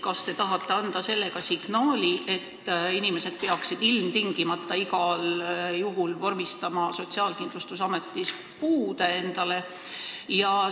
Kas te tahate anda sellega signaali, et inimesed peaksid ilmtingimata igal juhul Sotsiaalkindlustusametis puude vormistama?